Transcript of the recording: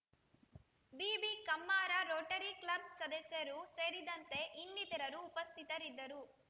ಬಿಬಿಕಮ್ಮಾರ Rotary club ಸದಸ್ಯರು ಸೇರಿದಂತೆ ಇನ್ನಿತರರು ಉಪಸ್ಥಿತರಿದ್ದರು